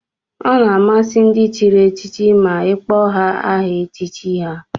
Ọ na-amasị ndị chịrị echichi ma ị kpọọ ha aha echichi ha